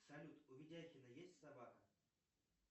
салют у ведяхина есть собака